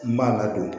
N b'a ladon